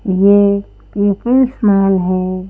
ये People's Mall है।